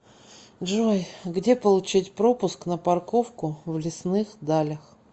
джой где получить пропуск на парковку в лесных далях